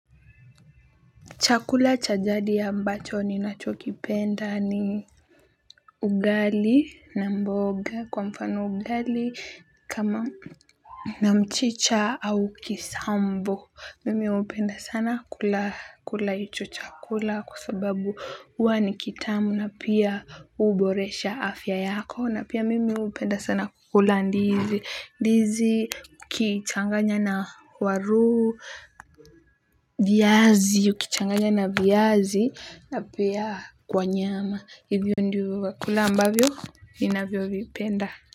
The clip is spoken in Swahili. Chakula cha jadi ambacho ninachokipenda ni ugali na mboga kwa mfano ugali kama na mchicha au kisambo. Mimi hupenda sana kula hicho chakula kwa sababu huwa ni kitamu na pia huboresha afya yako na pia mimi hupenda sana kukula ndizi. Ndizi ukichanganya na waru viazi, ukichanganya na viazi na pia kwa nyama. Hivyo ndio vyakula ambavyo ninavyovipenda.